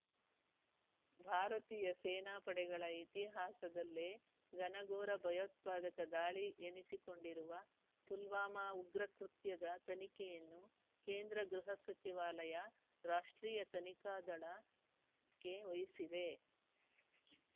ಭಾರತೀಯ ಸೇನಾಪಡೆಗಳ ಇತಿಹಾಸದಲ್ಲೇ ಘನಘೋರ ಭಯೋತ್ಪಾದಕ ದಾಳಿ ಎನಿಸಿಕೊಂಡಿರುವ ಪುಲ್ವಾಮಾ ಉಗ್ರ ಕೃತ್ಯದ ತನಿಖೆಯನ್ನು ಕೇಂದ್ರ ಗೃಹ ಸಚಿವಾಲಯ ರಾಷ್ಟ್ರೀಯ ತನಿಖಾ ದಳ ಕ್ಕೆ ವಹಿಸಿದೆ